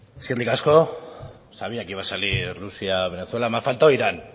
eskerrik asko sabía que iba a salir rusia venezuela me ha faltado irán